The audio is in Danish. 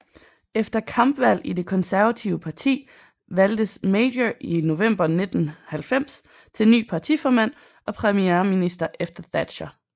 Efter kampvalg i det Konservative Parti valgtes Major i november 1990 til ny partiformand og premierminister efter Thatcher